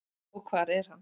Og hvar er hann?